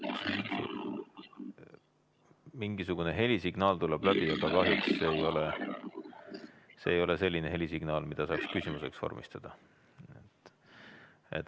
Mingisugune helisignaal tuleb läbi, aga kahjuks see ei ole selline helisignaal, millest saaks küsimuse välja lugeda.